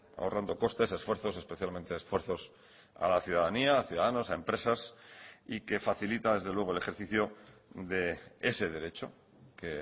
ahorrando costes esfuerzos especialmente esfuerzos a la ciudadanía a ciudadanos a empresas y que facilita desde luego el ejercicio de ese derecho que